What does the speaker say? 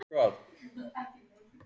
Brosandi leikmaður nær líka betri árangri